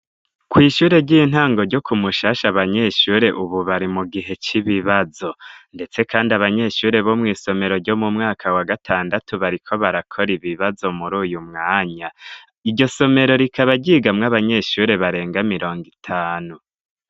Kw' ishure ry'intango ryo ku Mushasha abanyeshure ubu bari mu gihe c'ibibazo ndetse kandi abanyeshure bo mw'isomero ryo mu mwaka wa gatandatu bariko barakora ibibazo muri uyu mwanya. Iryo somero rikaba ryigamwo abanyeshure barenga mirongo itanu.